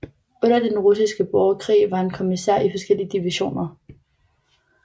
Under Den Russiske Borgerkrig var han kommissær i forskellige divisioner